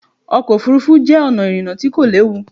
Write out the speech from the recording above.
Ọkọ̀ òfuurufú jẹ́ ọ̀nà ìrìnà tí kò léwu.